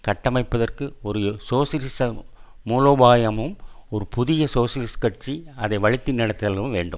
கட்டமைப்பதற்கு ஒரு சோசியலிச மூலோபாயமும் ஒரு புதிய சோசியலிசக் கட்சி அதை வழித்தி நடதலும் வேண்டும்